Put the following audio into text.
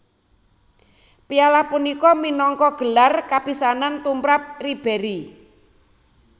Piala punika minangka gelar kapisanan tumrap Ribéry